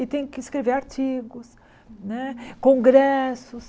E tenho que escrever artigos né, congressos.